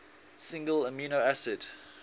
single amino acid